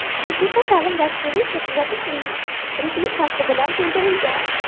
Musiqiy ta’lim dasturi esa tuzatish ritmikasi bilan to‘ldirilgan.